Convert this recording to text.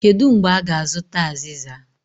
Kedu mgbe a ga-azụta aziza?